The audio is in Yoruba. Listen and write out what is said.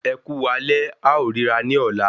Ẹkú alẹ́, a ó rírà ní ọ̀la